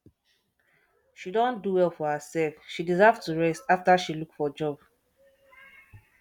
she don do well for herself she deserve to rest after she look for job